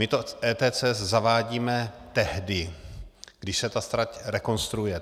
My to ETCS zavádíme tehdy, když se ta trať rekonstruuje.